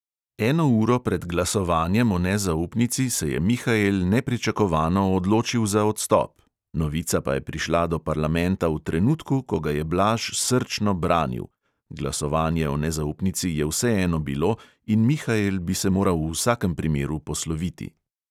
Eno uro pred glasovanjem o nezaupnici se je mihael nepričakovano odločil za odstop, novica pa je prišla do parlamenta v trenutku, ko ga je blaž srčno branil (glasovanje o nezaupnici je vseeno bilo in mihael bi se moral v vsakem primeru posloviti).